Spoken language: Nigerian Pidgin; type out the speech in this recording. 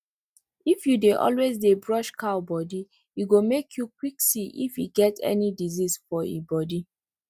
if you dey always dey brush cow body e go make you quick see if e get any disease for e body